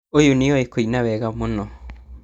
ũyũ nĩoĩ kuina wega mũno